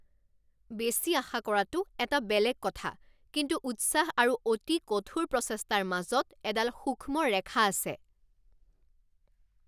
বেছি আশা কৰাটো এটা বেলেগ কথা, কিন্তু উৎসাহ আৰু অতি কঠোৰ প্ৰচেষ্টাৰ মাজত এডাল সূক্ষ্ম ৰেখা আছে।